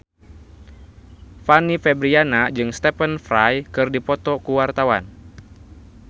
Fanny Fabriana jeung Stephen Fry keur dipoto ku wartawan